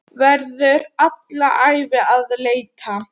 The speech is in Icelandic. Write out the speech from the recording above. Verður alla ævi að leita.